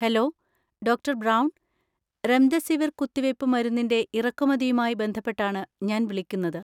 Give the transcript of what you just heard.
Hello, doctor Brown. Remdesivir കുത്തിവയ്പ്പ് മരുന്നിൻ്റെ ഇറക്കുമതിയുമായി ബന്ധപ്പെട്ടാണ് ഞാൻ വിളിക്കുന്നത്.